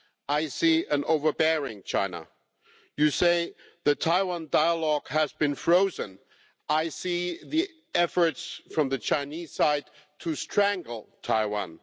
I see an overbearing China. You say the Taiwan dialogue has been frozen. I see the efforts from the Chinese side to strangle Taiwan.